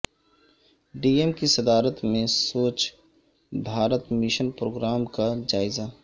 D M کی صدات میں Swachh Bharat mission programme کا جائزہ